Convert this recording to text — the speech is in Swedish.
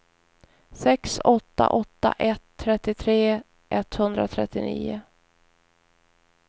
sex åtta åtta ett trettiotre etthundratrettionio